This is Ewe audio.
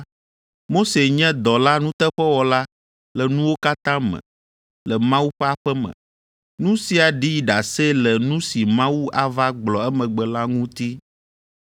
Mose nye dɔla nuteƒewɔla le nuwo katã me le Mawu ƒe aƒe me, nu sia ɖi ɖase le nu si Mawu ava gblɔ emegbe la ŋuti.